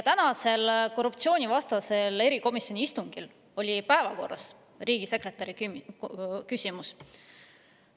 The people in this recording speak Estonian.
Tänasel korruptsioonivastase erikomisjoni istungil oli päevakorras riigisekretäri küsimus.